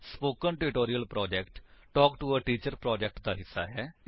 spoken tutorial project talk to a teacher project ਦਾ ਹਿੱਸਾ ਹੈ